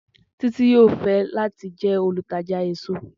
Titi yoo fẹ lati jẹ olutaja eso.